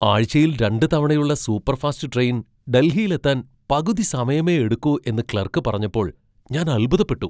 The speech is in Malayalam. ആഴ്ചയിൽ രണ്ടുതവണയുള്ള സൂപ്പർഫാസ്റ്റ് ട്രെയിൻ ഡൽഹിയിലെത്താൻ പകുതി സമയമേ എടുക്കൂ എന്ന് ക്ലർക്ക് പറഞ്ഞപ്പോൾ ഞാൻ അൽഭുതപ്പെട്ടു!